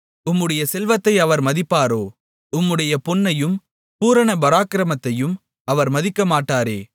உம்முடைய செல்வத்தை அவர் மதிப்பாரோ உம்முடைய பொன்னையும் பூரண பராக்கிரமத்தையும் அவர் மதிக்கமாட்டாரே